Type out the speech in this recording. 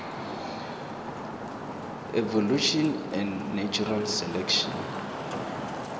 evolution and natural selection